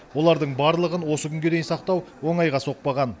олардың барлығын осы күнге дейін сақтау оңайға соқпаған